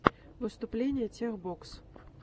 выступление тех бокс